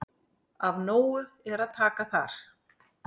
Af nógu er að taka þar.